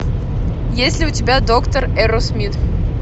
есть ли у тебя доктор эрроусмит